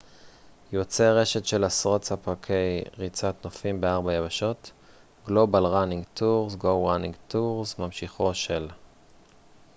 "ממשיכו של "go running tours" - "global running tours" - יוצר רשת של עשרות ספקי ריצת נופים בארבע יבשות.